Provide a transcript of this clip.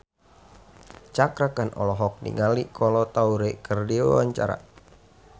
Cakra Khan olohok ningali Kolo Taure keur diwawancara